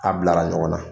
A bilara ɲɔgɔn na